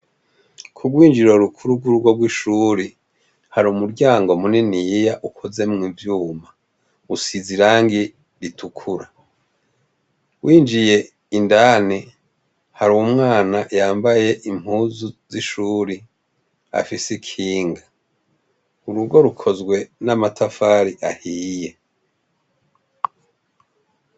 Ku bwinjiro bukuru bw'urugo bw'ishuri ,hari umuryango muniniya ukoze mu ivyuma usize irangi ritukura .winjiye indani hari uwo mwana yambaye impuzu z'ishuri afise kinga urugo rukozwe n'amatafari ahiye.